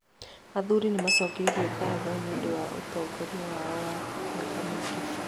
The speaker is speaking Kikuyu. Athuri nĩ maacokeirio ngatho nĩ ũndũ wa ũtongoria wao wa mĩaka mĩingĩ.